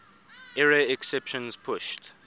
error exceptions pushed